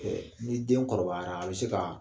ni den kɔrɔbayara a bɛ se kaa